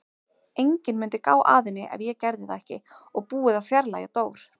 Enginn mundi gá að henni ef ég gerði það ekki og búið að fjarlægja Dór.